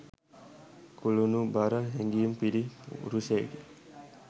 කුළුණුබර හැඟීම් පිරි පුරුෂයෙකි